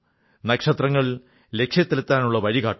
നക്ഷത്രങ്ങൾ ലക്ഷ്യത്തിലെത്താനുള്ള വഴി കാട്ടുന്നു